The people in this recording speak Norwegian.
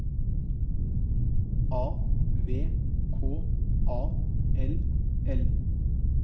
A V K A L L